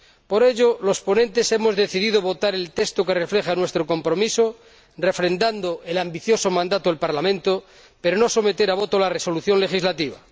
Por ello, los ponentes hemos decidido votar el texto que refleja nuestro compromiso, refrendando el ambicioso mandato del Parlamento, pero no someter a voto la resolución legislativa.